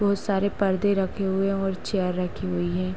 बोहोत सारे पर्दे रखे हुए हैं और चेयर रखी हुई है।